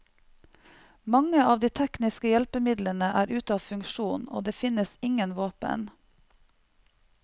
Mange av de tekniske hjelpemidlene er ute av funksjon, og det finnes ingen våpen.